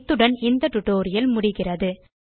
இத்துடன் இந்த டியூட்டோரியல் முடிகிறது